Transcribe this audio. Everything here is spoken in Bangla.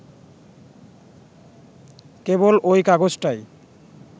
কেবল ঐ কাগজটাই